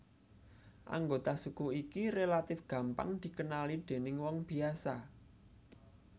Anggota suku iki relatif gampang dikenali déning wong biasa